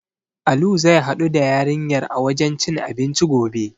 Alu zai haɗu da yarinyar a wajen cin abinci gobe.